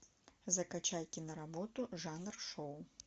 закачай киноработу жанр шоу